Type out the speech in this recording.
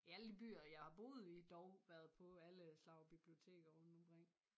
I alle de byer jeg har boet i dog været på alle slags biblioteker rundt omkring